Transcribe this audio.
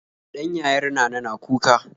Ɗan yayar nana na kuka